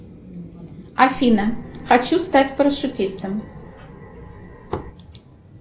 афина хочу стать парашютистом